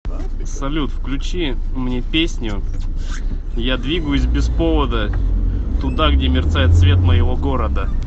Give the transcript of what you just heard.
салют включи мне песню я двигаюсь без повода туда где мерцает свет моего города